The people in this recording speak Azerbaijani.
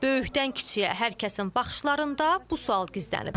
Böyükdən kiçiyə hər kəsin baxışlarında bu sual gizlənib.